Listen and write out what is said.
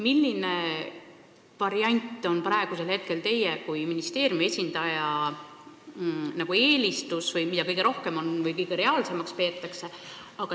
Milline variant on praegu teie kui ministeeriumi esindaja eelistus või mida kõige reaalsemaks peetakse?